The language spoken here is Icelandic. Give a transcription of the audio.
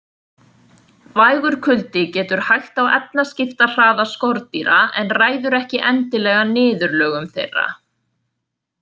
Vægur kuldi getur hægt á efnaskiptahraða skordýra en ræður ekki endilega niðurlögum þeirra.